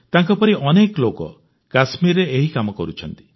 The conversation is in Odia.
ତାଙ୍କପରି ଅନେକ ଲୋକ କଶ୍ମୀରରେ ଏହି କାମ କରୁଛନ୍ତି